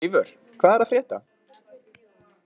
Eivör, hvað er að frétta?